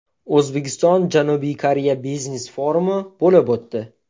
O‘zbekiston – Janubiy Koreya biznes-forumi bo‘lib o‘tdi.